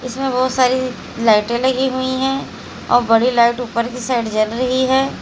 इसमें बहुत सारी लाइटे लगी हुई है और बड़ी लाइट ऊपर की साइड जल रही है।